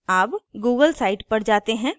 अब google site पर जाते हैं